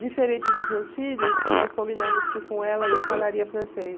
Diferente dos meus filhos, nós combinamos que com ela eu falaria francês.